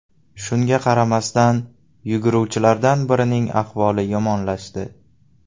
Shunga qaramasdan, yuguruvchilardan birining ahvoli yomonlashdi.